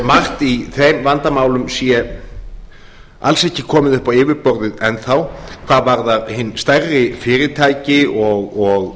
margt í þeim vandamálum sé alls ekki komið upp á yfirborðið enn þá hvað varðar hin stærri fyrirtæki